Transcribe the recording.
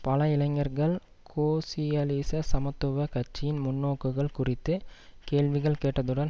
பல இளைஞர்கள் கோசியலிச சமத்துவ கட்சியின் முன்நோக்குகள் குறித்து கேள்விகள் கேட்டதுடன்